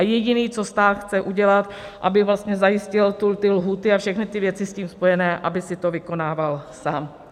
A jediný, co stát chce udělat, aby vlastně zajistil ty lhůty a všechny ty věci s tím spojené, aby si to vykonával sám.